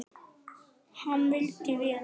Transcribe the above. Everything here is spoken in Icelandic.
Hann vildi vel.